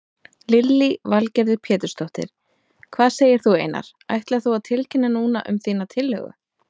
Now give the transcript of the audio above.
Lillý Valgerður Pétursdóttir: Hvað segir þú Einar, ætlar þú að tilkynna núna um þína tillögu?